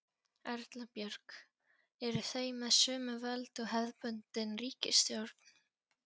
Erla Björg: Eru þau með sömu völd og hefðbundin ríkisstjórn?